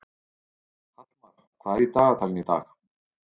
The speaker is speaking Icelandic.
Hallmar, hvað er í dagatalinu í dag?